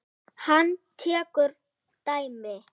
Hann tekur dæmi.